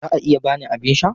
Za a iya ba ni abin sha?